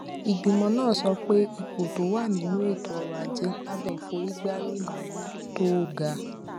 ìgbìmọ náà sọ pé ipò tó wà nínú ètò ọrọ ajé lábé ìforígbárí ìnáwó tó ga